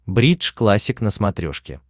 бридж классик на смотрешке